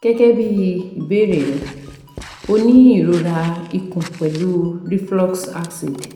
Gẹgẹbi ibeere rẹ o ni irora ikun pẹlu reflux acid